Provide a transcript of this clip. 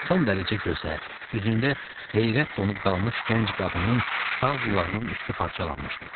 Son dərəcə gözəl, üzündə heyrət donub qalmış gənc qadının sağ qulağının üstü parçalanmışdı.